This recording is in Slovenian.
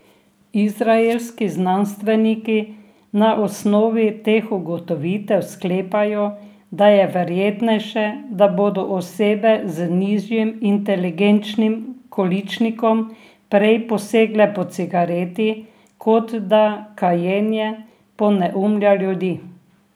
Izraelski znanstveniki na osnovi teh ugotovitev sklepajo, da je verjetnejše, da bodo osebe z nižjim inteligenčnim količnikom prej posegle po cigareti, kot da kajenje poneumlja ljudi.